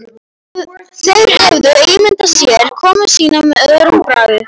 Þeir höfðu ímyndað sér komu sína með öðrum brag.